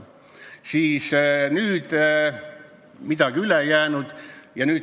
Siis midagi muud üle ei jäänud.